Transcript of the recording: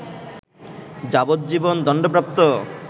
যাবজ্জীবন দণ্ডপ্রাপ্ত